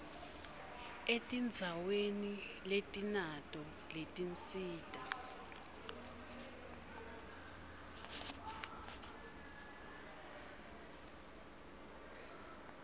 etindzaweni letinato letinsita